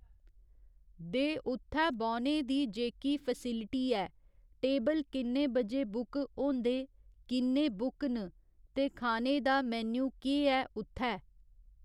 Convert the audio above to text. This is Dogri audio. दे उत्थै बौह्‌ने दी जेह्की फेसलिटी ऐ टेबल किन्ने बजे बुक होंदे किन्ने बुक न ते खाने दा मेन्यू केह् ऐै उत्थै